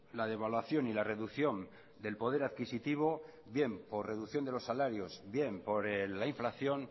la devaluación y la reducción del poder adquisitivo bien por reducción de los salarios bien por la inflación